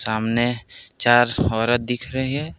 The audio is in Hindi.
सामने चार औरत दिख रही है।